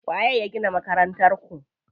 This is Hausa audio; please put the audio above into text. Waye ya gina Makarantar ku?